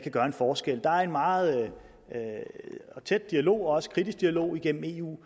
gøre en forskel der er en meget tæt dialog og også en kritisk dialog igennem eu